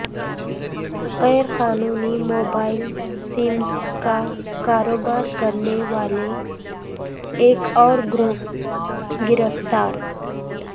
غیر قانونی mobile SIMs کا کاروبار کرنے والا ایک اورگروہ گرفتار